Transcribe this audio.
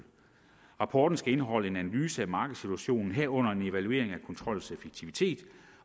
rapporten skal indeholde en analyse af markedssituationen herunder en evaluering af kontrollens effektivitet